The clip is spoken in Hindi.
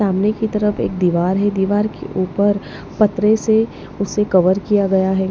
सामने की तरफ एक दीवार है दीवार के ऊपर पतरे से उसे कवर किया गया है।